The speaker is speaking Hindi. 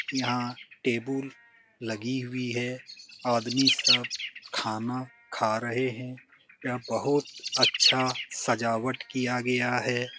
यहाँ टेबुल लगी हुई है। आदमी सब खाना खा रहें हैं। यह बहुत अच्छा सजावट किया गया है।